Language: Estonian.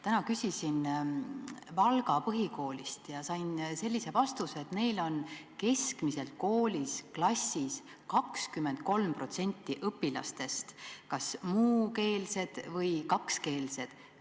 Täna küsisin Valga Põhikoolist ja sain sellise vastuse, et neil on keskmiselt klassis 23% õpilastest kas muukeelsed või kakskeelsed.